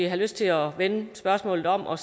have lyst til at vende spørgsmålet og